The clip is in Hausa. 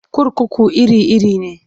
Kurkuku iri-iri ne.